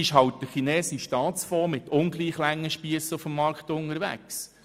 Dann wäre halt der chinesische Staatsfonds mit ungleich langen Spiessen auf dem Markt unterwegs.